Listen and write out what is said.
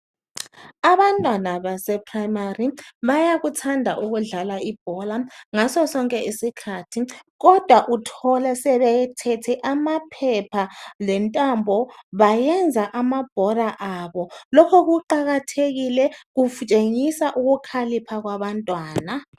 Abantwana baseprimary bayakuthanda ukudlala ibhola ngaso sonke isikhathi kodwa uthola sebeyithethe amaphepha lentambo bayiyenza amabhola abo loko kuqakathekile kutshengisa ukukhalipha kwabantwana